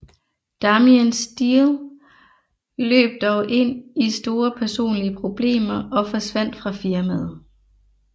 Damien Steele løb dog ind i store personlige problemer og forsvandt fra firmaet